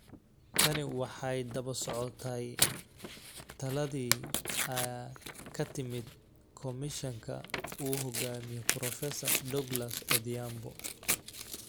Tani waxay daba socotay taladii ka timid komishanka uu hogaamiyo Prof. Douglas Odhiambo